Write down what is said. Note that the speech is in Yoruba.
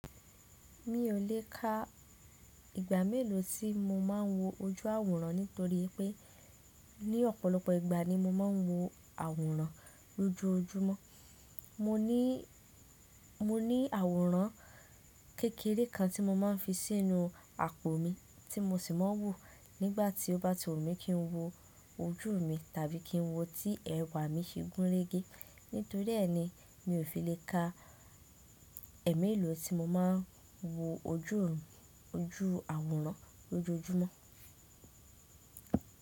Mi ò lè ka ìgbà mélòó tí mo máà ń wo ojú àwòrán nítorí pé ní ọ̀pọ̀lọpọ̀ ìgbà ni mo máà ń wo àwòrán lójoójúmọ́. Mo ní, mo ní àwòrán kékeré kan tí mo máà ń fi sínú àpò mi tí mo sì máa ń wo nígbàtí ó bá ti wù mí kí ń wo ojú mi tàbí kí ń wo tí ẹ̀wà mi ṣe gúnrégé. Nítorí èéni mi ò fi lè ka ẹ́ mélòó tí mo máà ń wo ojú, ojú àwòrán lójoójúmọ́.